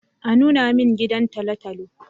A nuna min gidan tolotolo